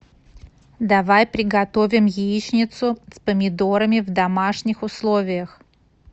давай приготовим яичницу с помидорами в домашних условиях